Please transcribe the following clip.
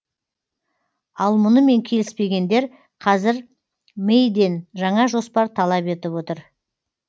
ал мұнымен келіспегендер қазір мэйден жаңа жоспар талап етіп отыр